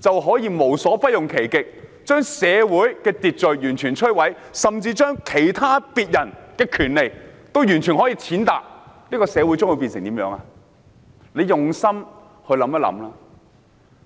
就可以無所不用其極，把社會秩序完全摧毀，甚至踐踏別人的權利，社會將會變成怎樣呢？